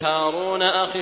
هَارُونَ أَخِي